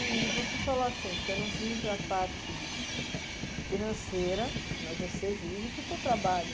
E você falou assim, você não visa a parte financeira, mas você vive do seu trabalho.